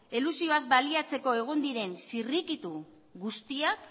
elusioaz baliatzeko egon diren zirrikitu guztiak